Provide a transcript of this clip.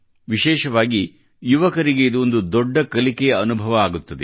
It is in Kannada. ವಿಶೇಷವಾಗಿ ಯುವಕರಿಗೆ ಇದು ಒಂದು ದೊಡ್ಡ ಕಲಿಕೆಯ ಅನುಭವ ಆಗುತ್ತದೆ